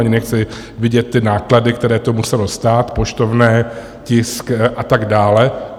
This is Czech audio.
Ani nechci vidět ty náklady, které to muselo stát, poštovné, tisk a tak dále.